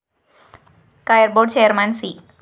Kayar‍ board chairman C